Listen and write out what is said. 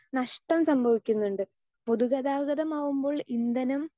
Speaker 2 നഷ്ടം സംഭവിക്കുന്നുണ്ട്. പൊതുഗതാഗതമാകുമ്പോൾ ഇന്ധനം